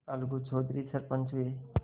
अलगू चौधरी सरपंच हुए